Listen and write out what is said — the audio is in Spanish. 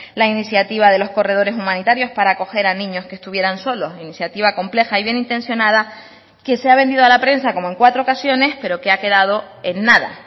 la iniciativa de los corredores humanitarios para acoger a niños que estuvieran solos iniciativa compleja y bien intencionada que se ha vendido a la prensa como en cuatro ocasiones pero que ha quedado en nada